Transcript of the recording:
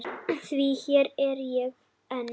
Því hér er ég enn.